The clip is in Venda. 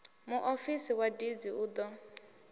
muofisi wa deeds u ḓo